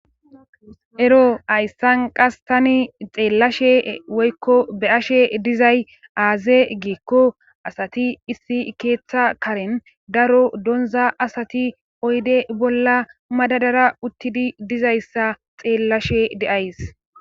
Ero hayssan qas taani xeellashe woykko be7ashe dizay aaze giikko asati keetha karan daro donza asati oyde bolla madadara uttidi dizayssa xeelashe de7ays.